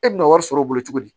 E bɛna wari sɔrɔ o bolo cogo di